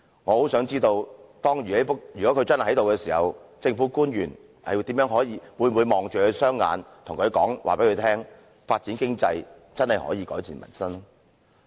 我很想知道如果他真的在席時，政府官員會否直視他的雙眼，告訴他發展經濟真的可以改善民生？